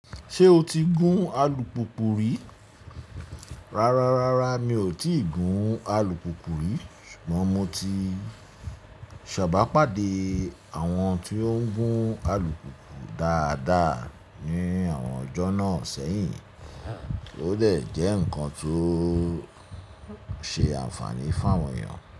Ṣé o ti gún alùpùpù rí? Rárá, rárá mi ò tíì gún alùpùpù rí ṣùgbọ́n mo ti sábà pàdé àwọn tó ń gún alùpùpù dáadáa ní àwọn ọjọ́ náà sẹ́yìn, ó dè jẹ́ ǹkan tó ṣe àǹfààní fún àwọn èèyàn.